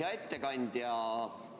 Hea ettekandja!